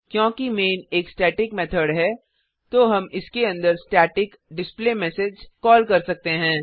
क्योंकि मैन एक static method है तो हम इसके अंदर स्टैटिक डिस्प्लेमेसेज कॉल कर सकते हैं